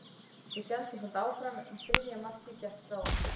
Við héldum samt áfram, en þriðja markið gekk frá okkur.